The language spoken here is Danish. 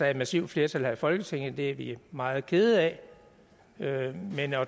et massivt flertal her i folketinget det er vi meget kede af men at